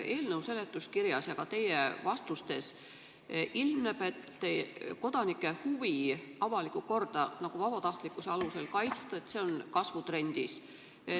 Eelnõu seletuskirjast ja ka teie vastustest ilmneb, et kodanike huvi avalikku korda vabatahtlikkuse alusel kaitsta on kasvutrendis.